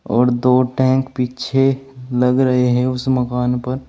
और दो टैंक पीछे लग रहे है उस मकान पर।